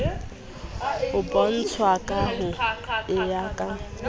bontshwa ka ho kengwa ka